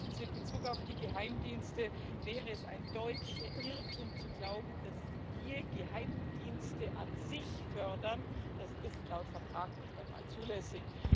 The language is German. Erstens In Bezug auf die Geheimdienste wäre es ein deutlicher Irrtum zu glauben, dass wir Geheimdienste an sich fördern das ist laut Vertrag nicht einmal zulässig.